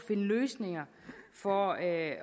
løsninger for at